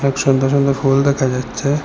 অনেক সুন্দর সুন্দর ফুল দেখা যাচ্ছে।